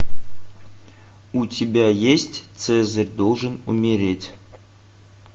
у тебя есть цезарь должен умереть